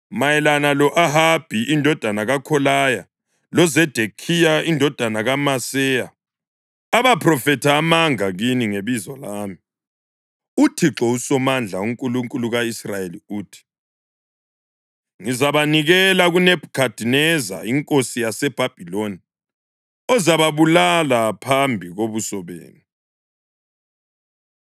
Mayelana lo-Ahabi indodana kaKholaya loZedekhiya indodana kaMaseya, abaphrofetha amanga kini ngebizo lami, uThixo uSomandla, uNkulunkulu ka-Israyeli uthi: “Ngizabanikela kuNebhukhadineza inkosi yaseBhabhiloni ozababulala phambi kobuso benu.